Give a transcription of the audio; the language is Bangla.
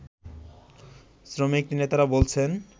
শ্রমিকনেতারা বলছেন